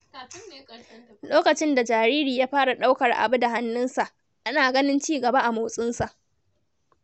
Lokacin da jariri ya fara ɗaukar abu da hannunsa, ana ganin cigaba a motsinsa.